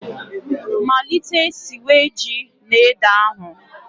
Malite siwe ji na ede ahụ